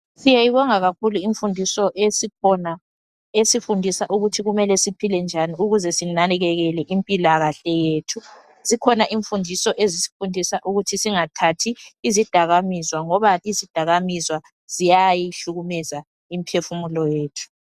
Siyayibonga kakhulu imfundiso esikhona esifundisa ukuthi kumele siphile njani ukuze sinakekele impilakahle yethu. Zikhona imfudiso ezisifundisa ukuthi singathathi izidakamizwa ngoba izidakamizwa ziyayihlukumeza imphefumulo yethu